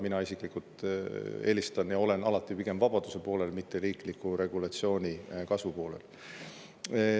Mina isiklikult olen alati pigem vabaduse poolel, mitte riikliku regulatsiooni kasvu poolel.